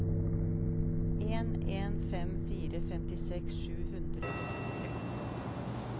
en en fem fire femtiseks sju hundre og syttitre